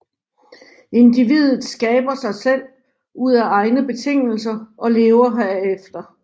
Individet skaber sig selv ud af egne betingelser og lever herefter